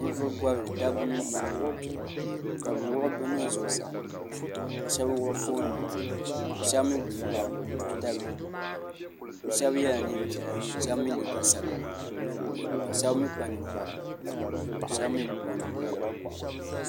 Ninvuɣi bɔbili dabba mini paɣaba kabi wuɣi bi nuhi zuɣusaa ka shɛba wuɣi foon nima ka shɛba mi wuɣi tuuta bihi bi shɛba yela nɛɛn piɛla shɛba mi liiga sabila ka shɛba mi kpa ninkpara ahɛba mi bi kpa ninkpara.